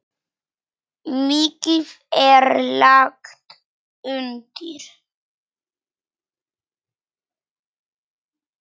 Mikið er lagt undir.